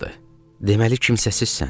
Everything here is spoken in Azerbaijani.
Deməli, kimsəsizsən.